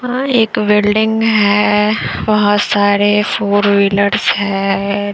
हां एक बिल्डिंग है बहुत सारे फोर व्हीलर्स है।